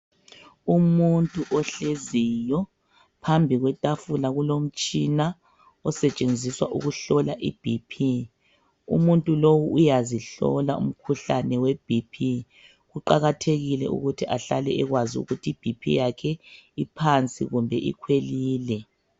Umuntu ohleziyo phambi kwetafula kulomutshina osetshenziswa ukuhlola i"BP". Umuntu lowu uyazihlola umkhuhlane we"BP" kuqakathekile ukuthi ahlale ekwazi ukuthi i"BP" yakhe iphansi kumbe ikhwelile.